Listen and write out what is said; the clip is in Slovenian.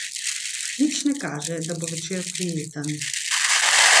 Nič ne kaže, da bo večer prijeten.